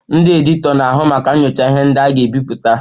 Ndị editọ na-ahụ maka nyochaa ihe ndị a ga-ebipụta